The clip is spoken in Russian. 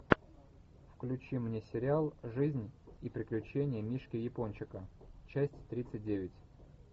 включи мне сериал жизнь и приключения мишки япончика часть тридцать девять